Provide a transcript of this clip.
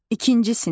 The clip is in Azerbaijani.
İkinci sinif.